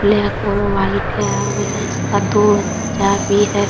Black और white है और ये इसका दो बच्चा भी है ।